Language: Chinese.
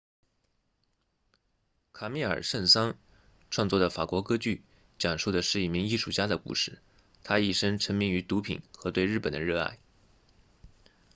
卡米尔圣桑 camille saint-saens 创作的法国歌剧讲述的是一名艺术家的故事他一生沉迷于毒品和对日本的热爱